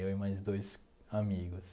Eu e mais dois amigos.